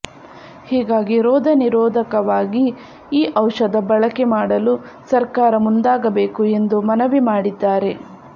ಹೀಗಾಗಿ ರೋಗ ನಿರೋಧಕವಾಗಿ ಈ ಔಷಧ ಬಳಕೆ ಮಾಡಲು ಸರ್ಕಾರ ಮುಂದಾಗಬೇಕು ಎಂದು ಮನವಿ ಮಾಡಿದ್ದಾರೆ